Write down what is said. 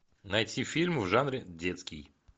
найти фильм в жанре детский